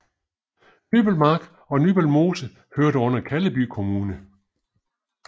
Nybølmark og Nybølmose hørte under Kalleby Kommune